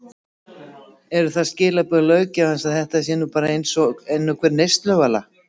Eru það skilaboð löggjafans að þetta sé nú bara eins og hver önnur neysluvara?